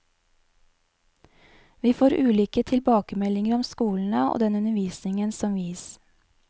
Vi får ulike tilbakemeldinger om skolene og den undervisningen som gis.